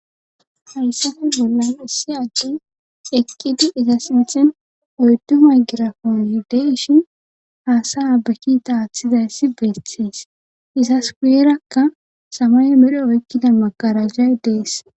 Haysaffe bolan issi addey eqidi oydu maygraponey deyshin hasaya ba kita athizzayssi guyeraka samaye medho oyqida magaragay dees